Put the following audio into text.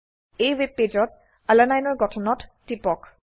এই ওয়েবপেজত আলানিনে ৰ গঠনত টিপক